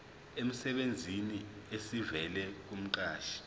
emsebenzini esivela kumqashi